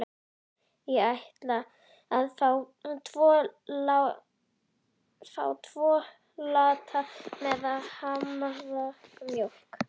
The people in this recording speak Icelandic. Ég ætla að fá tvo latte með haframjólk.